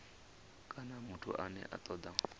kana muthu ane a toda